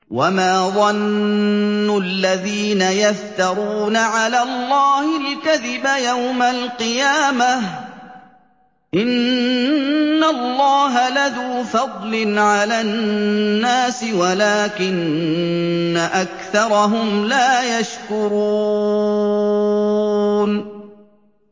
وَمَا ظَنُّ الَّذِينَ يَفْتَرُونَ عَلَى اللَّهِ الْكَذِبَ يَوْمَ الْقِيَامَةِ ۗ إِنَّ اللَّهَ لَذُو فَضْلٍ عَلَى النَّاسِ وَلَٰكِنَّ أَكْثَرَهُمْ لَا يَشْكُرُونَ